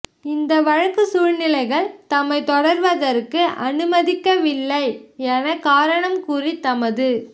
இந்த வழக்கு சூழ்நிலைகள் தம்மை தொடருவதற்கு அனுமதிக்கவில்லை எனக் காரணம் கூறி தமது